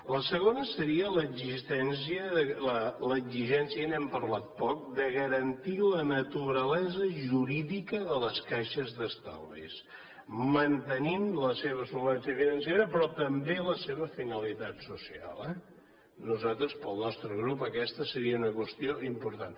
la segona seria l’exigència n’hem parlat poc de garantir la naturalesa jurídica de les caixes d’estalvis mantenint la seva solvència financera però també la seva finalitat social eh per nosaltres pel nostre grup aquesta seria una qüestió important